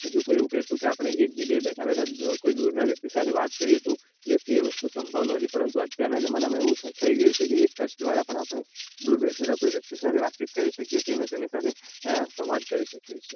જો કોઈ એવું કેહતું કે આપણે એક જગ્યા એ બેઠા બેઠા કોઈ દુરના વ્યક્તિ જોડે વાત કરીએ તો એ વખતે સંભવ ન હતું પરંતુ અત્યારે ના જમાનામાં એવું થઇ ગયું છે એક જ દ્રારા પણ આપડે દુર બેસેલા વ્યક્તિ સાથે વાત છે અને તેની સાથે સંવાદ કરી શકીયે છે.